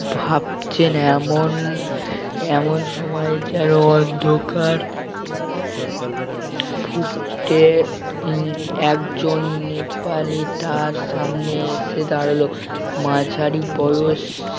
ভাবছেন এমন এমন সময় যেন অন্ধকার ফুটতে উম একজন নেপালি তার সামনে এসে দাঁড়ালো মাঝারি বয়স